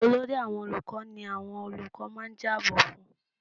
Olórí àwọn olùkọ́ ni àwọn olùkọ́ máa ń jábọ fún-un.